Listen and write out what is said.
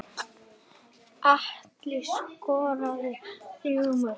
Atli skoraði þrjú mörk.